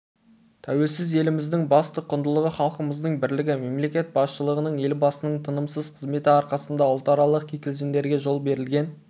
тәуелсіз еліміздің басты құндылығы халқымыздың бірлігі мемлекет басшылығының елбасының тынымсыз қызметі арқасында ұлтаралық кикілжіңдерге жол берілген